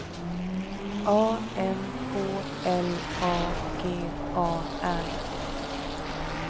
A N K L A G A R